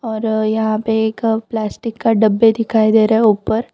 और यहां पे एक प्लास्टिक का डब्बे दिखाई दे रहा है ऊपर।